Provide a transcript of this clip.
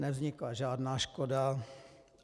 Nevznikla žádná škoda.